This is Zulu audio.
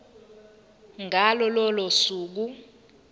ngalo lolo suku